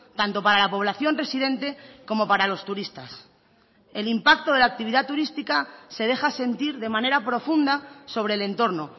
tanto para la población residente como para los turistas el impacto de la actividad turística se deja sentir de manera profunda sobre el entorno